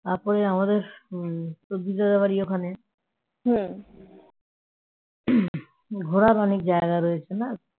তারপর আমাদের সুজিতদারের বাড়ি ওখানে ঘোরার অনেক জায়গা রয়েছে না